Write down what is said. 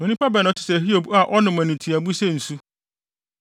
Onipa bɛn na ɔte sɛ Hiob a ɔnom animtiaabu sɛ nsu?